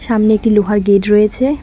সামনে একটি লোহার গেট রয়েছে।